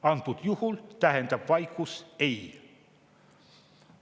Antud juhul tähendab vaikus: "Ei.